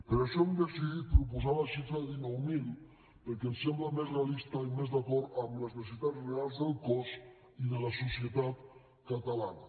per això hem decidit proposar la xifra de dinou mil perquè ens sembla més realista i més d’acord amb les necessitats reals del cos i de la societat catalana